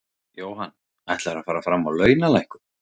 Jóhann: Ætlarðu að fara fram á launalækkun?